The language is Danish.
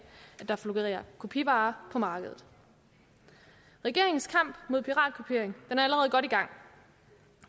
at der florerer kopivarer på markedet regeringens kamp mod piratkopiering er allerede godt i gang